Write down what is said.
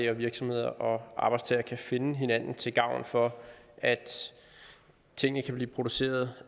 at virksomheder og arbejdstagere kan finde hinanden til gavn for at tingene kan blive produceret